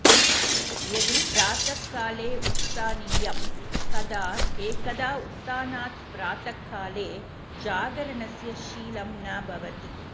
यदि प्रातःकाले उत्स्थानीयं तदा एकदा उत्थानात् प्रातःकाले जागरणस्य शीलं न भवति